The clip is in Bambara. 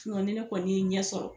ni ne kɔni ye ɲɛ sɔrɔ